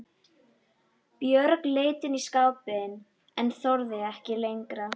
Björg leit inn í skápinn en þorði ekki lengra.